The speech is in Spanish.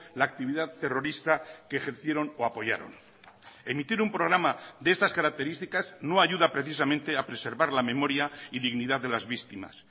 la actividad terrorista que ejercieron o apoyaron emitir un programa de estas características no ayuda precisamente a preservar la memoria y dignidad de las víctimas